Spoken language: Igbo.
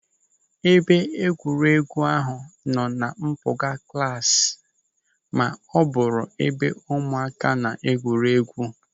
Ebe egwuregwu ahụ nọ na mpụga klasi ma bụrụ ebe ụmụaka na-egwu egwuregwu.